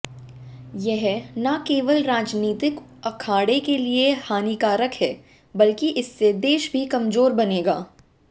यह न केवल राजनीतिक अखाड़े के लिए हानिकारक है बल्कि इससे देश भी कमजोर बनेगा